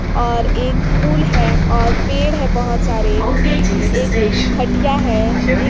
और एक पुल है और पेड़ बहुत सारे एक खटिया है।